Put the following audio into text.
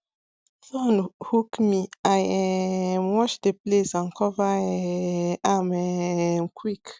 thorn hook me i um wash the place and cover um am um quick